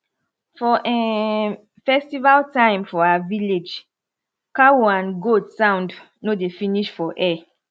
for um festival time for our village cow and goat sound no dey finish for air